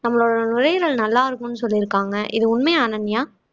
நம்மளோட நுரையீரல் நல்லா இருக்கும்னு சொல்லிருக்காங்க இது உண்மையா அனன்யா